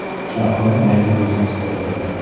Shahlo yangi biznes boshladi.